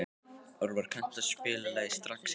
Orvar, kanntu að spila lagið „Strax í dag“?